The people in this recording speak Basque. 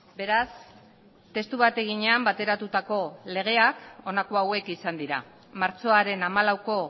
beraz testu bateginean bateratutako legeak honako hauek izan dira martxoaren hamalauko